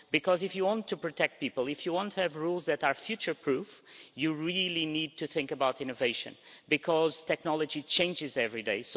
Because if you want to protect people, and if you want to have rules that are future proof, you really need to think about innovation because technology changes every day.